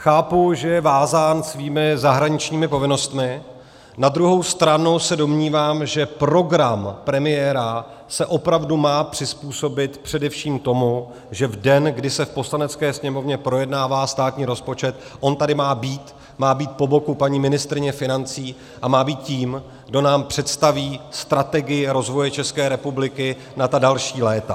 Chápu, že je vázán svými zahraničními povinnostmi, na druhou stranu se domnívám, že program premiéra se opravdu má přizpůsobit především tomu, že v den, kdy se v Poslanecké sněmovně projednává státní rozpočet, on tady má být, má být po boku paní ministryně financí a má být tím, kdo nám představí strategii rozvoje České republiky na ta další léta.